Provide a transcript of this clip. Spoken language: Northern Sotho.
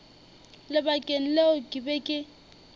lebakeng leo ke be ke